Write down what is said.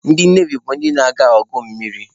Ndị Nevi bụ ndị na-aga agha mmiri